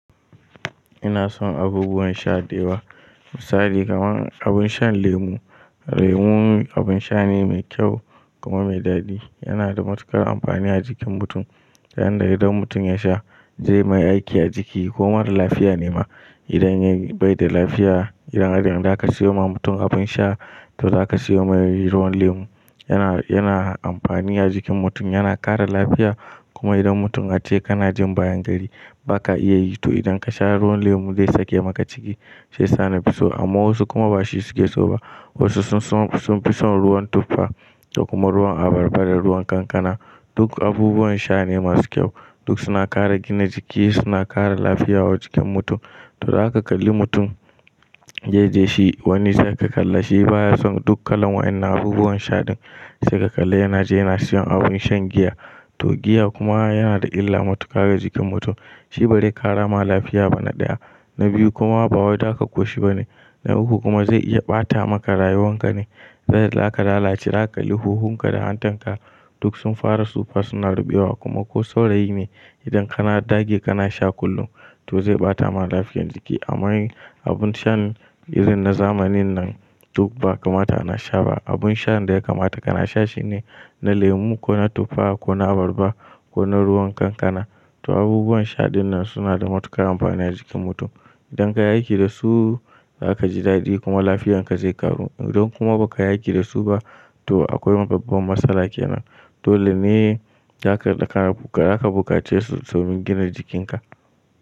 Ina son abubuwan sha da yawa misali kamar abun shan lemu. Lemu abin sha ne mai kyau kuma mai daɗi. Yana da matuƙar amfani a jikin mutum. Dan idan mutum ya sha zai mai aiki a jiki ko mara lafiya ne ma. Idan ya bai da lafiya, idan har zaka siyowa mutum abin sha to zaka siyomai ruwan lemu. Yana, yana amfani a jikin mutum, yana kare lafiya kuma idan mutum ace kanajin bayan gari baka iya yi to idan ka sha ruwan lemu zai sake maka ciki shiyasa nafiso. Amma wasu kuma ba shi suke so ba. Wasu sun fi son ruwan tuffa da kuma ruwan abarba da ruwan kankana. Duk abubuwan sha ne masu kyau. Duk suna kare gina jiki, suna kare lafiya wa jikin mutum. To zaka kalli mutum yaje shi wanne za ka kalla shi baya son duk kalan wa'inan abubuwan sha din sai ka kalla yana je yana siyan abun shan giya. To giya kuma yana da illa matuƙa ga jikin mutum. Shi ba zai kara ma lafiya ba na ɗaya, na biyu kuma ba wai zaka koshi ba ne, na uku kuma zai iya ɓata maka rayuwan ka ne. Sai zaka lalace, za ka kalli huhun ka da hantan ka duk sun fara tsufa suna ruɓewa kuma ko saurayi ne idan kana dage kana sha kullum to zai ɓata ma lafiyan jiki. Amma abun shan irin na zamanin nan duk ba kamata ana sha ba. Abun shan da ya kamata kana sha shine na lemu ko na tuffa ko na abarba ko na ruwan kankana. To abubuwan sha din nan suna da matuƙar amfani a jikin mutum. Idan ka yi aiki da su za ka ji daɗi kuma lafiyan ka zai karu. Idan kuma ba ka yi aiki da su ba to akwai babban matsala kenan. Dole ne za ka bukace su domin gina jikin ka.